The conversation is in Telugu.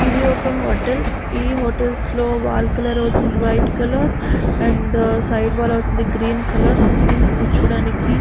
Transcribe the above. ఇది ఒక హోటల్ ఈ హోటల్స్ లో వాల్ కలర్ ఐతే వైట్ కలర్ సైడ్ వాల్ అవుతుంది గ్రీన్ కలర్ అండ్ సిట్టింగ్ కూర్చో టానికి --